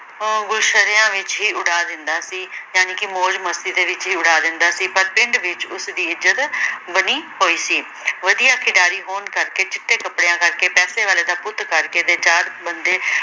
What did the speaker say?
ਅਹ ਗੁਰਸ਼ਰਿਆ ਵਿਚ ਹੀ ਉਡਾ ਦਿੰਦਾ ਸੀ। ਜਾਣੀਕੇ ਮੌਜ ਮਸਤੀ ਦੇ ਵਿਚ ਹੀ ਉਡਾ ਦਿੰਦਾ ਸੀ ਪਰ ਪਿੰਡ ਵਿਚ ਉਸਦੀ ਇੱਜਤ ਬਣੀ ਹੋਈ ਸੀ। ਵਧੀਆ ਖਿਡਾਰੀ ਹੋਣ ਕਰਕੇ, ਚਿੱਟੇ ਕੱਪੜਿਆਂ ਕਰਕੇ, ਪੈਸੇ ਵਾਲੇ ਦਾ ਪੁੱਤ ਕਰਕੇ, ਬੰਦੇ